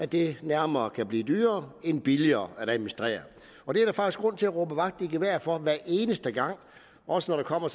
det nærmere kan blive dyrere end billigere at administrere det er der faktisk grund til at råbe vagt i gevær over for hver eneste gang også når der kommer